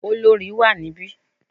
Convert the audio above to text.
Olorì wà níbí.